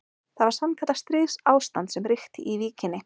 Það var sannkallað stríðsástand sem ríkti í Víkinni.